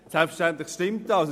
Selbstverständlich stimmt das.